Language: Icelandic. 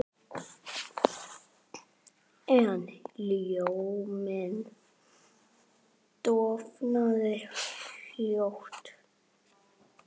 En ljóminn dofnaði fljótt.